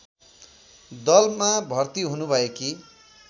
दलमा भर्ति हुनुभएकी